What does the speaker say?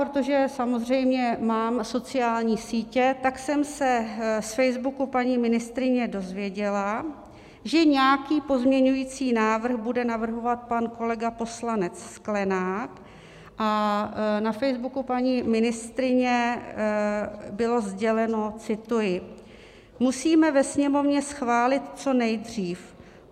Protože samozřejmě mám sociální sítě, tak jsem se z Facebooku paní ministryně dozvěděla, že nějaký pozměňovací návrh bude navrhovat pan kolega poslanec Sklenák, a na Facebooku paní ministryně bylo sděleno, cituji: "Musíme ve Sněmovně schválit co nejdřív.